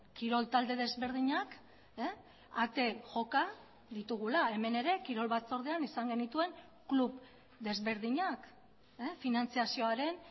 kirol talde desberdinak ate joka ditugula hemen ere kirol batzordean izan genituen klub desberdinak finantzazioaren